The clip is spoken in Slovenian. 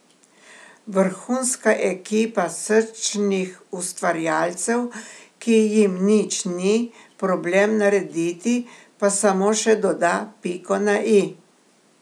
Vrhunska ekipa srčnih ustvarjalcev, ki jim nič ni problem narediti, pa samo še doda piko na i.